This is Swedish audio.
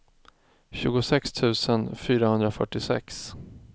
tjugosex tusen fyrahundrafyrtiosex